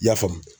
I y'a faamu